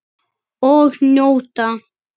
Og njóta.